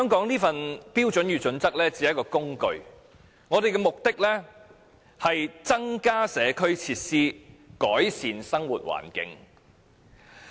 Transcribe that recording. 《規劃標準》其實只是一種工具，目的是要增加社區設施和改善生活環境。